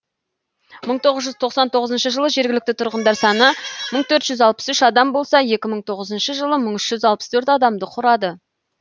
мың тоғыз жүз тоқсан тоғызыншы жылы жергілікті тұрғындар саны мың төрт жүз алпыс үш адам болса екі мың тоғызыншы жылы мың үш жүз алпыс төрт адамды құрады